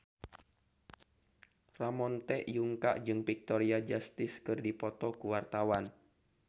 Ramon T. Yungka jeung Victoria Justice keur dipoto ku wartawan